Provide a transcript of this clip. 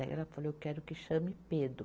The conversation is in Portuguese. Daí ela falou, eu quero que chame Pedro.